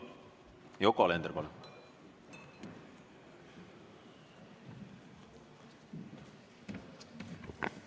Yoko Alender, palun!